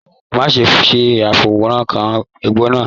Má ṣe fọwọkàn egbò náà!